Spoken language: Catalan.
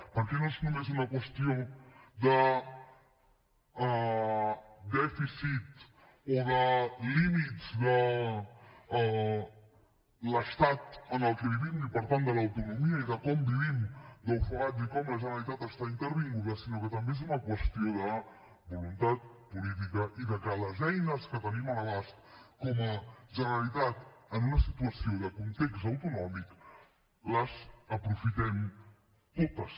perquè no és només una qüestió de dèficit o de límits de l’estat en el que vivim i per tant de l’autonomia i de com vivim d’ofegats i com la generalitat està intervinguda sinó que també és una qüestió de voluntat política i de que les eines que tenim a l’abast com a generalitat en una situació de context autonòmic les aprofitem totes